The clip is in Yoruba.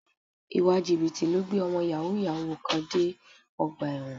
Ìwà Jìbìtì ló gbé ọmọ Yàhooyahoo kan dé ọgbà ẹ̀wọ̀n